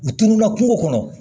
U tununna kungo kɔnɔ